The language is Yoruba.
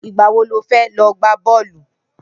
Nigbà wó ló fè lọ gbá bọlú?